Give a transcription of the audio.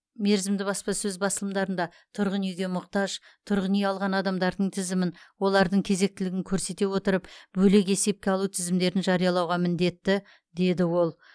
мерзімді баспасөз басылымдарында тұрғын үйге мұқтаж тұрғын үй алған адамдардың тізімін олардың кезектілігін көрсете отырып бөлек есепке алу тізімдерін жариялауға міндетті деді ол